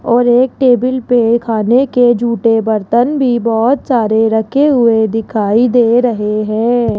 और एक टेबिल पे खाने के जूठे बर्तन भी बहोत सारे रखे हुए दिखाई दे रहे हैं।